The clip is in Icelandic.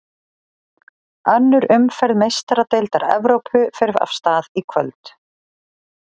Önnur umferð Meistaradeildar Evrópu fer af stað í kvöld.